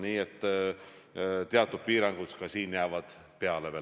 Nii et teatud piirangud ka siin veel jäävad.